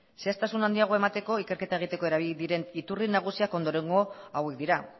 zehaztasun handiagoa emateko ikerketa egiteko erabili diren iturri nagusiak ondorengo hauek dira